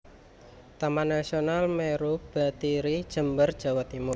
Taman Nasional Meru Betiri Jember Jawa Timur